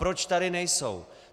Proč tady nejsou?